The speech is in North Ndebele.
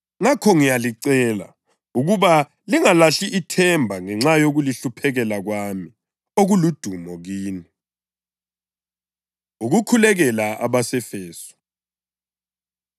Ngakho, ngiyalicela ukuba lingalahli ithemba ngenxa yokulihluphekela kwami, okuludumo kini. Ukukhulekela Abase-Efesu